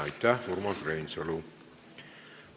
Aitäh, Urmas Reinsalu!